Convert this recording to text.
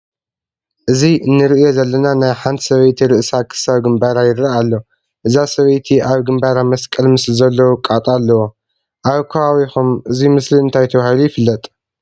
እዚ እንርእዮ ዘለና ናይ ሓንቲ ሰበይቲ ርእሳ ክሳብ ግንባራ ይረኣ ኣሎ። እዛ ሰበየቲ ኣብ ግንባራ መስቀል ምሰሊ ዘለዎ ውቃጦ ኣለዎ። ኣብ ከባቢኩም እዚ ምሰሊ እንታይ ተባሂሊ ይፍለጥ?